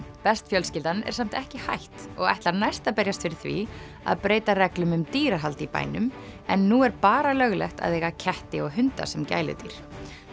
best fjölskyldan er samt ekki hætt og ætlar næst að berjast fyrir því að breyta reglum um dýrahald í bænum en nú er bara löglegt að eiga ketti og hunda sem gæludýr